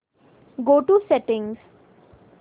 go to settings